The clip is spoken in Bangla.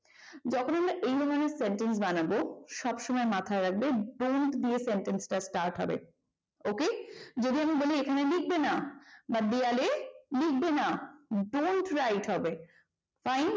যখন আমরা এই ধরনের sentence বানাবো সবসময় মাথায় রাখবে bond দিয়ে sentence টা start হবে ok যদি আমি বলি এখানে লিখবে না বা দেওয়ালে লিখবে না don't write হবে fine বোঝা গেল